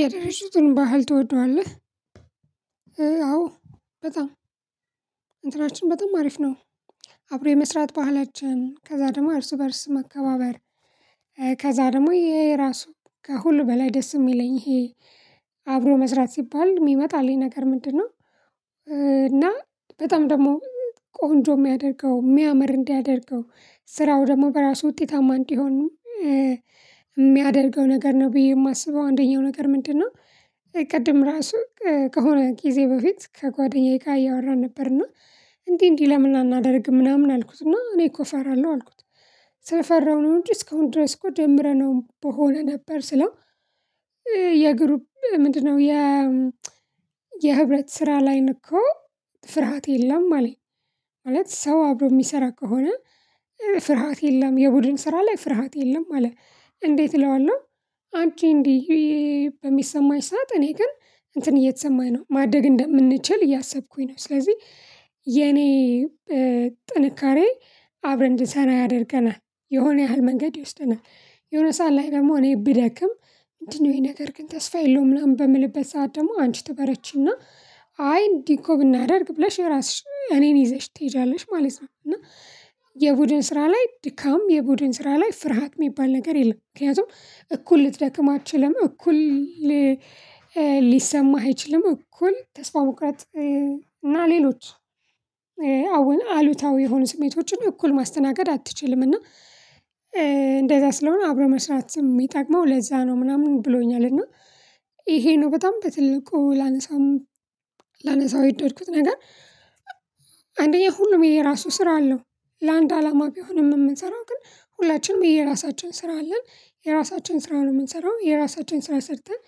የደረሱትን ባህል ትወደዋለህ? አዎ በጣም እንትናችን በጣም አሪፍ ነው። አብሮ የመስራት ባህላችን ከዛ ደግሞ እርስ በእርስ መከባበር ከዛ ደግሞ ይሄ የራሱ ከሁሉ በላይ ደስ የሚለኝ ይሄ አብሮ መስራት ሲባል የሚመጣልኝ ነገር ምንድነው? እና በጣም ደግሞ ቆንጆ የሚያደርገው የሚያምር እንዲያደርገው ስራው ደግሞ በራሱ ውጤታማ እንዲሆን። የሚያደርገው ነገር ነው ብዬ የማስበው አንደኛው ነገር ምንድነው? ቅድም ራሱ ከሆነ ጊዜ በፊት ከጓደኛዬ ጋር እያወራን ነበርና። እንዴ እንዲህ ለምን አናደርግም ምናምን አልኩት እና እኔ እኮ እፈራለሁ አልኩት። ስለፈራው ነው እንጂ እስከሆን ድረስ እኮ ጀምረነው በሆነ ነበር ስለው። የግሩፕ ምንድነው የ የህብረት ስራ ላይ እኮ ፍርሃት የለም አለኝ። ማለት ሰው አብሮ የሚሰራ ከሆነ ፍርሃት የለም የቡድን ስራ ላይ ፍርሃት የለም አለ እንዴት እለዋለሁ። አንቺ እንዲህ በሚሰማኝ ሰዓት እኔ ግን እንትን እየተሰማኝ ነው ማደግ እንደምንችል እያሰብኩኝ ነው ስለዚህ። የኔ ጥንካሬ አብረን እንድሰራ ያደርገናል የሆነ ያህል መንገድ ይወስደናል የሆነ ሰዓት ላይ ደግሞ እኔ ብደክም እንዲህ ነው ይሄ ነገር ግን ተስፋ የለውም ምናምን በምልበት ሰዓት ደግሞ አንቺ ትበረቺና አይ እንዲህ እኮ ብናደርግ ብለሽ የራስሽ እኔን ይዘሽ ትሄዳለሽ ማለት ነው። እና የቡድን ስራ ላይ ድካም የቡድን ስራ ላይ ፍርሃት የሚባል ነገር የለም ምክንያቱም እኩል ልትደክም አትችልም እኩል ሊሰማህ አይችልም እኩል ተስፋ መቁረጥ። እና ሌሎች አሉታዊ የሆኑ ስሜቶችን እኩል ማስተናገድ አትችልም። እና እንደዛ ስለሆነ አብረው መስራት የሚጠቅመው ለዛ ነው ምናምን ብሎኛል። እና ይሄ ነው በጣም በትልቁ ላነሳው ላነሳው የደረኩት ነገር። አንደኛ ሁሉም የራሱ ስራ አለው ለአንድ አላማ ቢሆንም የምንሰራው ግን ሁላችንም የራሳችን ስራ አለን የራሳችን ስራውን የምንሰራው የራሳችን ስራ ሰርተን።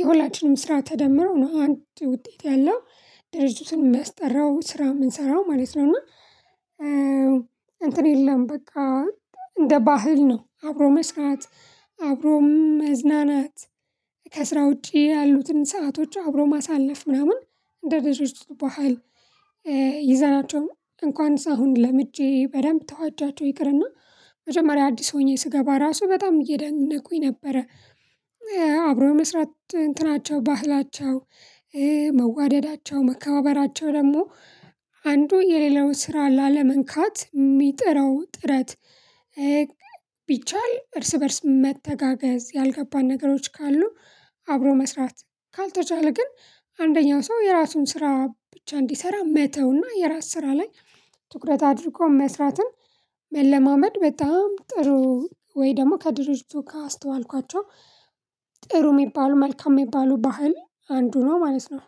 የሁላችንም ስራ ተደምረው ነው አንድ ውጤት ያለው ድርጅቱን መስጠራው ስራ የምንሰራው ማለት ነው እና። እንትን የለም በቃ እንደ ባህል ነው አብሮ መስራት። አብሮ መዝናናት ከስራ ውጪ ያሉትን ሰአቶች አብሮ ማሳለፍ ምናምን እንደ ድርጅቱ ባህል። ይዘናቸው እንኳን ሰው አሁን ለምጄ በደንብ ተዋጃቸው ይቅርና መጀመሪያ አዲስ ሆኜ ስገባ ራሱ በጣም እያደነቁኝ ነበረ። አብሮ የመስራት እንትናቸው ባህላቸው መዋደዳቸው መከባበራቸው ደግሞ አንዱ የሌላው ስራ ላለመንካት የሚጥረው ጥረት። ቢቻል እርስ በእርስ መተጋገዝ ያልገባን ነገሮች ካሉ አብሮ መስራት ካልተቻለ ግን አንደኛው ሰው የራሱን ስራ ብቻ እንዲሰራ መተውና የራስ ስራ ላይ ትኩረት አድርጎ መስራትን መለማመድ በጣም ጥሩ። ወይ ደግሞ ከድርጅቱ ካስተዋልኳቸው ጥሩ የሚባሉ መልካም የሚባሉ ባህል አንዱ ነው ማለት ነው